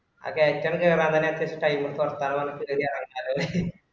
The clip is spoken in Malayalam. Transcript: ആഹ് കേറ്റം കേറാൻ നല്ല ഇഷ്ട്ടയി നമ്മക്ക് കൊറക്കാന്ന് പറഞ്ഞപ്പൊ ready അവന്മാര്